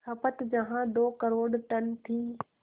खपत जहां दो करोड़ टन थी